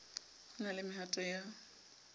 ho na le mehato ya